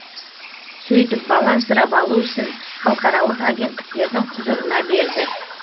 сөйтіп бала асырап алу ісін халықаралық агенттіктердің құзырына берді